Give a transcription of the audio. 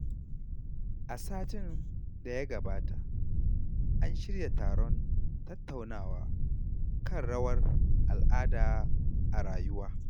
A satin da ya gabata, an shirya taron tattaunawa kan rawar al’ada a rayuwa.